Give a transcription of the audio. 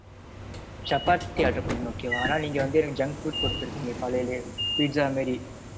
Chapati order பன்னிருந்தேன். okay வா ஆனா நீங்க வந்து எனக்கு junk food குடுத்துருக்கீங்க காலைலேயே pizza மாறி